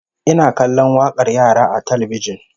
Ina kallon wakar yara a talbijin